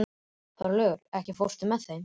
Þorlaugur, ekki fórstu með þeim?